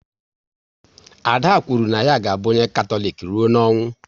Ada kwuru na ya ga abụ onye Katọlik rụọ n'ọnwụ